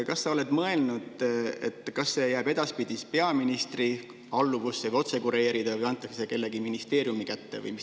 Kas sa oled mõelnud, kas see jääb edaspidi peaministri otsealluvusse ja kureerida või antakse see mõne ministeeriumi kätte?